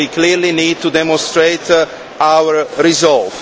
We clearly need to demonstrate our resolve.